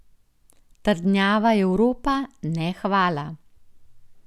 Trdnjava Evropa, ne hvala.